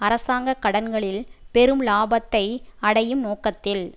அரசாங்க கடன்களில் பெரும் இலாபத்தை அடையும் நோக்கத்தில்